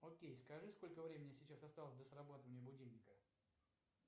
окей скажи сколько времени сейчас осталось до срабатывания будильника